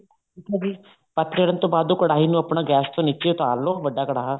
ਠੀਕ ਏ ਜੀ ਪੱਤ ਚੜਨ ਤੋਂ ਬਾਅਦ ਉਹ ਕੜਾਹੀ ਨੂੰ ਆਪਣਾ ਗੈਸ ਤੋਂ ਨੀਚੇ ਤੋਂ ਉਤਾਰ ਲੋ ਵੱਡਾ ਕੜਾਹਾ